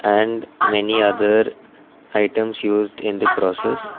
and many other items used in the process.